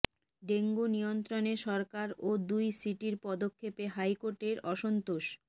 dengue নিয়ন্ত্রণে সরকার ও দুই সিটির পদক্ষেপে হাইকোর্টের অসন্তোষ